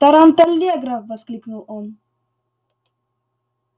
таранталлегра воскликнул он